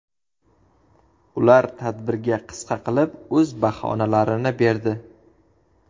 Ular tadbirga qisqa qilib o‘z baholarini berdi.